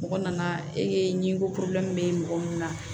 Mɔgɔ nana ee ɲiko bɛ mɔgɔ mun na